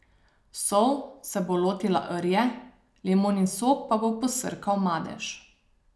Sol se bo lotila rje, limonin sok pa bo posrkal madež.